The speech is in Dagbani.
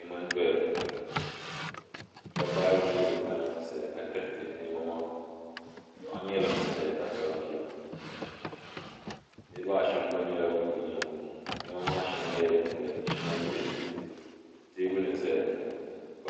Niɛma n doya ŋɔ dobba ayi n nyɛ bin kana ti zaya ka tiriti niɛma ŋɔ paɣa nyɛla ŋun zaya ka kpabi bia nitiba ashem gba nyɛla ban be nyaanga ŋɔ niɛma maa sheŋa nyɛla din doya ka sheŋa nyɛ din yiliya teebuli n zaya ŋɔ.